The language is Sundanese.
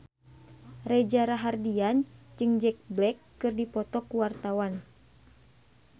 Reza Rahardian jeung Jack Black keur dipoto ku wartawan